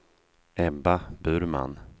Ebba Burman